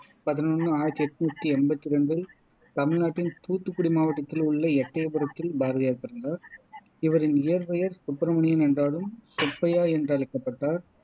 பதினொன்னு ஆயிரத்தி என்னுத்தி எம்பத்தி ரெண்டில் தமிழ்நாட்டின் தூத்துக்குடி மாவட்டத்தில் உள்ள எட்டையபுரத்தில் பாரதியார் பிறந்தார் இவரின் இயற்பெயர் சுப்பிரமணியன் என்றாலும் சுப்பையா என்றழைக்கப்பட்டார்